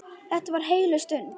Þetta var heilög stund.